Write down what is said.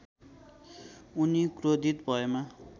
उनी क्रोधित भएमा